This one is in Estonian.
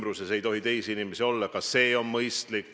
Lähemal ei tohi teisi inimesi olla.